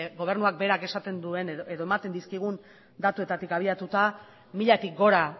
gobernuak berak esaten duen edo ematen dizkigun datuetatik abiatuta milatik gora